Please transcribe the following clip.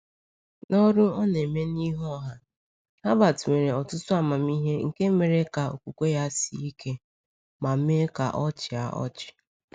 N’ọrụ ọ na-eme n’ihu ọha, Herbert nwere ọtụtụ ahụmịhe nke mere ka okwukwe ya sie ike — ma mee ka ọ chịa ọchị.